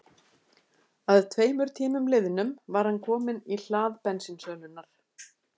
Að tveimur tímum liðnum var hann kominn í hlað bensínsölunnar.